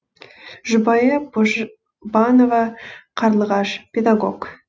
жұбайы божбанова қарлығаш педагог